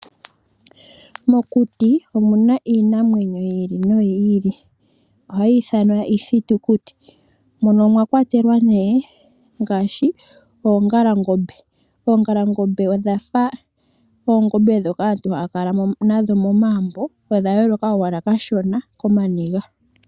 Mokuti omu na iinamwenyo yi ili noyi ili ohayi ithanwa iithitukuti, mono mwa kwatelwa nee ngaashi oongalangombe, oongalangombe odhafa oongombe ndhoka aantu haya kala nadho momagumbo odha yooloka ashike kooniga.